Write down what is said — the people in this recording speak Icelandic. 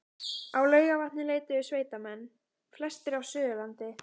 Á Laugarvatn leituðu sveitamenn, flestir af Suðurlandi